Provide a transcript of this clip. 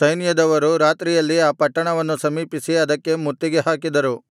ಸೈನ್ಯದವರು ರಾತ್ರಿಯಲ್ಲಿ ಆ ಪಟ್ಟಣವನ್ನು ಸಮೀಪಿಸಿ ಅದಕ್ಕೆ ಮುತ್ತಿಗೆ ಹಾಕಿದರು